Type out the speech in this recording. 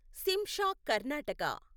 Shimsha Karnataka